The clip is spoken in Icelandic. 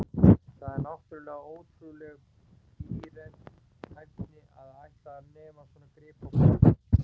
Það er náttúrlega ótrúleg bíræfni að ætla að nema svona grip á brott.